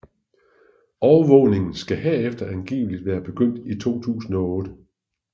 Overvågningen skal herefter angiveligt være begyndt i 2008